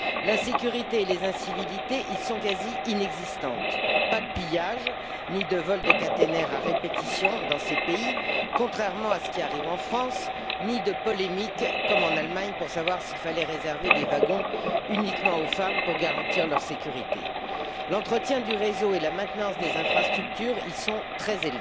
L'insécurité et les incivilités y sont quasi inexistantes, pas de pillage, ni de vol de caténaires à répétition dans ces pays, contrairement à ce qui arrive en France, ni de polémique, comme en Allemagne, pour savoir s'il fallait réserver des wagons uniquement aux femmes pour garantir leur sécurité. L'entretien du réseau et la maintenance des infrastructures y sont très